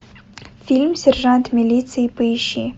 фильм сержант милиции поищи